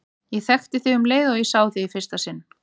Ég þekkti þig um leið og ég sá þig í fyrsta sinn.